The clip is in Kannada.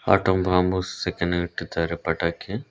ಆಟಂ ಬಾಂಬ್ ಸೆಕೆಂಡ್ ಗೆ ಇಟ್ಟಿದ್ದಾರೆ ಪಟಾಕಿ--